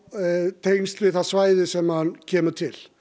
tengsl við það svæði sem hann kemur til